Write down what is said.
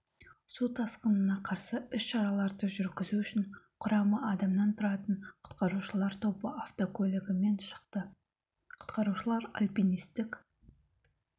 сутасқынына қарсы ісшараларды жүргізу үшін құрамы адамнан тұратын құтқарушылар тобы автокөлігімен шықты құтқарушылар альпинистік